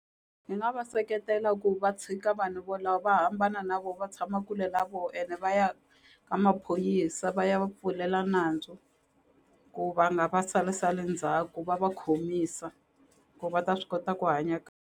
Ni nga va seketela ku va tshika vanhu vo lava va hambana na vo va tshama kule na vo ene va ya ka maphorisa va ya va pfulela nandzu ku va nga va salasali ndzhaku va va khomisa ku va ta swi kota ku hanya .